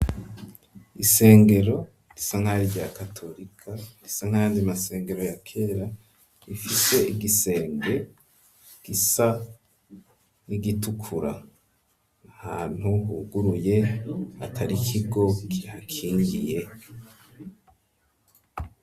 Isengero, risa nkari rya katolika, gisa nkandi masengero ya kera ,rifise igisenge gisa n'igitukura ,hantu huguruye ata kigo kihakingiye,